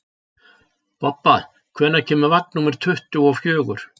Bobba, hvenær kemur vagn númer tuttugu og fjögur?